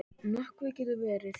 Nökkvi getur verið